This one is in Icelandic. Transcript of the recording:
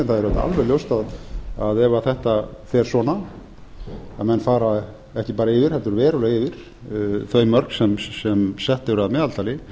en það er auðvitað alveg ljóst ef þetta fer svona að menn fara ekki bara yfir heldur bara verulega yfir þau mörk sem sett eru að meðaltali